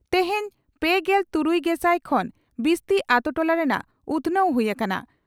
ᱛᱮᱦᱮᱧ ᱯᱮᱜᱮᱞ ᱛᱩᱨᱩᱭᱜᱮᱥᱟᱭ ᱠᱷᱚᱱ ᱵᱤᱥᱛᱤ ᱟᱛᱳ ᱴᱚᱞᱟ ᱨᱮᱱᱟᱜ ᱩᱛᱷᱱᱟᱹᱣ ᱦᱩᱭ ᱟᱠᱟᱱᱟ ᱾